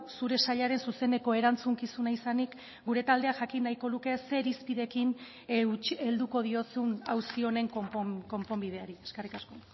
zure sailaren zuzeneko erantzukizuna izanik gure taldeak jakin nahiko luke ze irizpideekin helduko diozun auzi honen konponbideari eskerrik asko